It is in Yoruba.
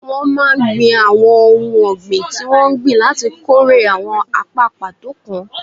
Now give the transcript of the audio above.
Wọ́n máa ń gbìn àwọn ohun ọ̀gbìn tí wọ́n ń gbìn láti kórè àwọn apá pàtó kan